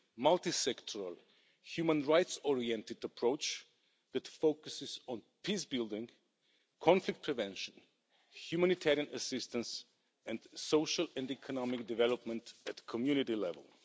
multi sectoral human rights oriented approach that focuses on peace building, conflict prevention, humanitarian assistance and social and economic development at community level.